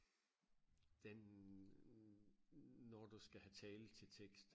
den når du skal have tale til tekst